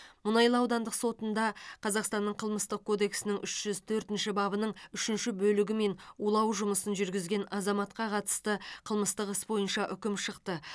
мұнайлы аудандық сотында қазақстанның қылмыстық кодексінің үш жүз төртінші бабының үшінші бөлігімен улау жұмысын жүргізген азаматқа қатысты қылмыстық іс бойынша үкім шықты